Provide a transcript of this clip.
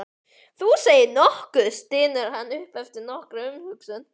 Þú segir nokkuð, stynur hann upp eftir nokkra umhugsun.